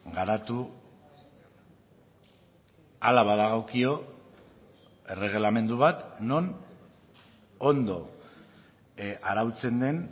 garatu hala badagokio erregelamendu bat non ondo arautzen den